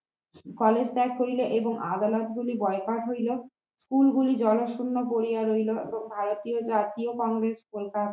college ত্যাগ করিল এবং আদালত গুলি বয়কট হইল school গুলি জনশূন্য পড়িয়া রইলো এবং ভারতীয় জাতীয় কংগ্রেস পন্থা